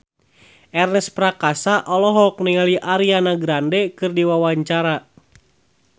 Ernest Prakasa olohok ningali Ariana Grande keur diwawancara